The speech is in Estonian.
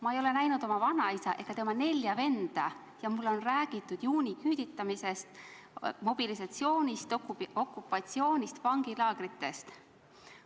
Ma ei ole näinud oma vanaisa ega tema nelja venda ja mulle on räägitud juuniküüditamisest, mobilisatsioonist, okupatsioonist, vangilaagritest.